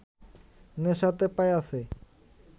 নেশাতে পাইয়াছে